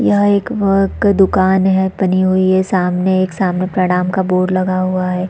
यह एक दुकान है टंगी हुई हैं सामने प्रणाम का बोर्ड लगा हुआ है।